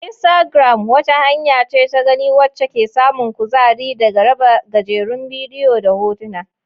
Instagram wata hanya ce ta gani wacce ke samun kuzari daga raba gajerun bidiyo da hotuna.